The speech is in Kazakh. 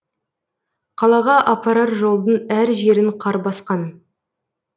қалаға апарар жолдың әр жерін қар басқан